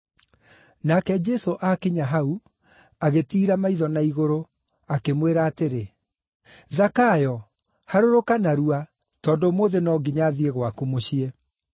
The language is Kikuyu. Nake Jesũ aakinya hau, agĩtiira maitho na igũrũ, akĩmwĩra atĩrĩ, “Zakayo, harũrũka narua, tondũ ũmũthĩ no nginya thiĩ gwaku mũciĩ.”